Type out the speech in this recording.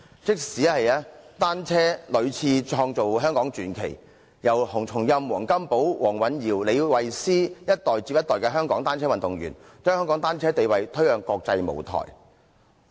即使單車屢次創造香港傳奇，從洪松蔭、黃金寶、黃蘊瑤到李慧詩，一代接一代的香港單車運動員，把香港單車運動地位推向國際舞台。